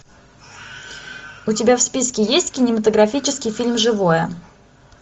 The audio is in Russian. у тебя в списке есть кинематографический фильм живое